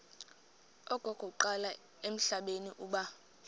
okokuqala emhlabeni uba